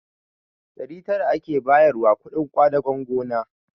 Ɗari tara ake bayarwa kuɗin ƙwadagon gona